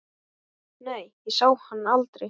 Nei, ég sá hann aldrei.